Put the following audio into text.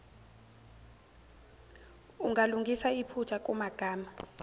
ungalungisa iphutha kumagama